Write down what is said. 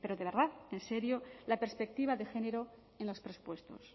de verdad en serio la perspectiva de género en los presupuestos